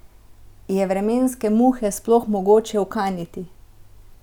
Je vremenske muhe sploh mogoče ukaniti?